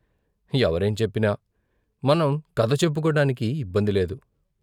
ఎవరేం చెప్పినా మనం కథ చెప్పుకోటానికి ఇబ్బందిలేదు.